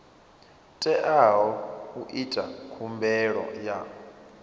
teaho u ita khumbelo ya